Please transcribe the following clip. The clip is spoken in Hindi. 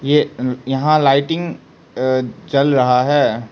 ये अम यहां लाइटिंग अ जल रहा है।